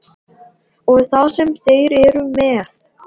Og það sem þeir eru með.